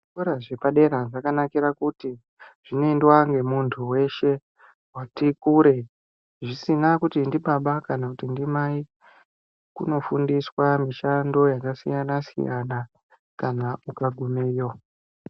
Zvikorq zvepadera zvakanakira kuti zviboendwa nemunthu weshe wati kure zvisina kuti ndibaba kana ndimai kunofundiswa mishando yakasiyana siyana kana ukagumeyo.